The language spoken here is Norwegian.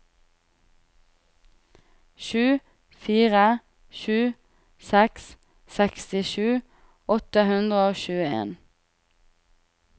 sju fire sju seks sekstisju åtte hundre og tjueen